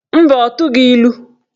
Mba, ọ tụghị ilu.